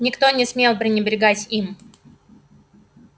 никто не смел пренебрегать им